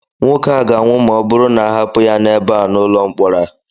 nwoke a ga-anwụ ma ọ bụrụ na a hapụ ya ebe a n'ụlọ mkpọrọ a